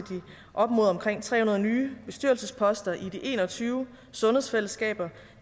op mod omkring tre hundrede nye bestyrelsesposter i de en og tyve sundhedsfællesskaber